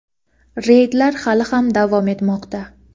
reydlar hali ham davom etmoqda.